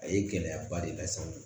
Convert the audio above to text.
A ye gɛlɛyaba de las'a ma